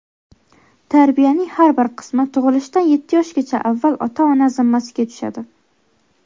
Tarbiyaning har bir qismi tug‘ilishdan yetti yoshgacha avval ota-ona zimmasiga tushadi.